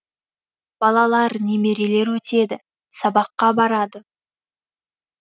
балалар немерелер өтеді сабаққа барады